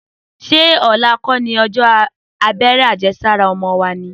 Sẹ ọlà kọ ni òjọ àbẹẹrẹ àjẹsàrá ọmọ wo ni?